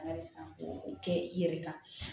Ala ye san k'o kɛ i yɛrɛ kan